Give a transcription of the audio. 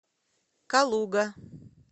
калуга